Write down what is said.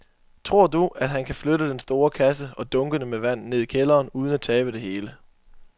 Tror du, at han kan flytte den store kasse og dunkene med vand ned i kælderen uden at tabe det hele?